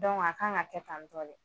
Dɔnku a kan ka kɛ tantɔ de.